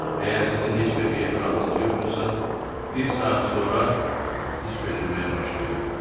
Əgər sizin heç bir etirazınız yoxdursa, bir saat sonra biz köçürməyə başlayardıq.